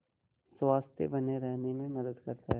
स्वस्थ्य बने रहने में मदद करता है